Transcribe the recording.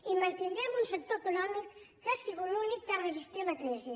i mantindrem un sector econòmic que ha sigut l’únic que ha resistit la crisi